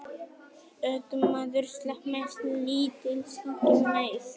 Ökumaður slapp með lítilsháttar meiðsl